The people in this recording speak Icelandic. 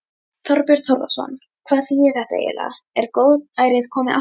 Þorbjörn Þórðarson: Hvað þýðir þetta eiginlega, er góðærið komið aftur?